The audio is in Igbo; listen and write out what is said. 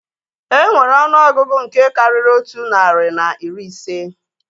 Enwere ọnụọgụgụ nke karịrị otu narị na iri ise